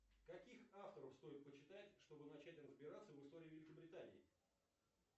каких авторов стоит почитать чтобы начать разбираться в истории великобритании